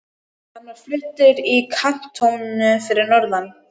Hann var fluttur í kantónu fyrir norðan.